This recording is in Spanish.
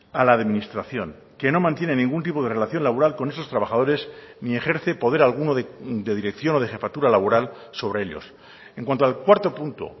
a la administración que no mantiene ningún tipo de relación laboral con esos trabajadores ni ejerce poder alguno de dirección o de jefatura laboral sobre ellos en cuanto al cuarto punto